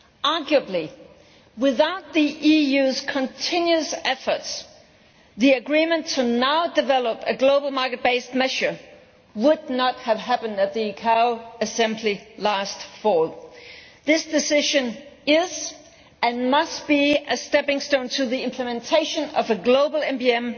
Arguably, without the EU's continuous efforts, the agreement to develop now a global market based measure would not have happened at the ICAO Assembly last autumn. This decision is, and must be, a stepping stone to the implementation of a global MBM